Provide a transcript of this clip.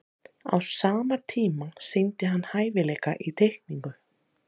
á sama tíma sýndi hann hæfileika í teikningu